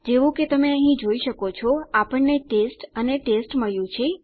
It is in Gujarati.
જેવું કે તમે અહીં જોઈ શકો છો આપણને ટેસ્ટ અને ટેસ્ટ મળ્યું છે